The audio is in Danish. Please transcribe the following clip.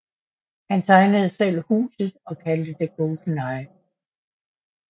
Han tegnede selv huset og kaldte det GoldenEye